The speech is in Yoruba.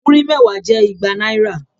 Múrí mẹ́wàá jẹ́ igba náírà.